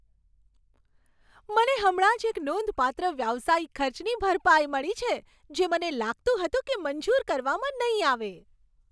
મને હમણાં જ એક નોંધપાત્ર વ્યવસાયિક ખર્ચની ભરપાઈ મળી છે, જે મને લાગતું હતું કે મંજૂર કરવામાં નહીં આવે.